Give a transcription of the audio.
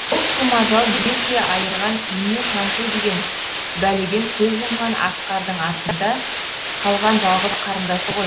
ол сұм ажал ерте айырған ине шаншу деген бәледен көз жұмған асқардың артында қалған жалғыз қарындасы ғой